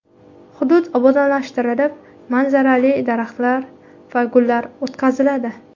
Hudud obodonlashtirilib, manzarali daraxtlar va gullar o‘tqaziladi.